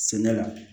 Sɛnɛ la